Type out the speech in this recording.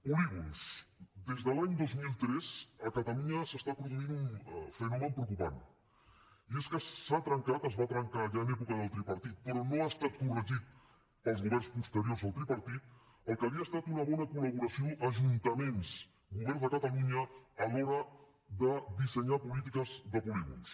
polígons des de l’any dos mil tres a catalunya s’està produint un fenomen preocupant i és que s’ha trencat es va trencar ja en època del tripartit però no ha estat corregit pels governs posteriors al tripartit el que havia estat una bona col·laboració ajuntaments govern de catalunya a l’hora de dissenyar polítiques de polígons